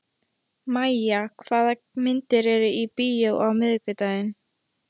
Mæja, hvaða myndir eru í bíó á miðvikudaginn?